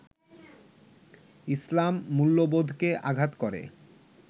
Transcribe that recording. ইসলাম মূল্যবোধকে আঘাত করে